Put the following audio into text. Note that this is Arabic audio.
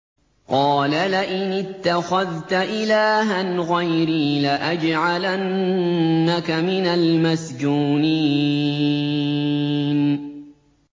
قَالَ لَئِنِ اتَّخَذْتَ إِلَٰهًا غَيْرِي لَأَجْعَلَنَّكَ مِنَ الْمَسْجُونِينَ